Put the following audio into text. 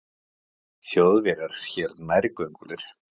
Þjóðverjar hér nærgöngulir.